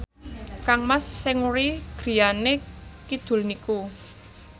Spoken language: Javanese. kangmas Seungri griyane kidul niku